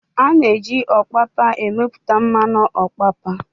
A na-eji Ọpapa emepụta mmanụ ọpapa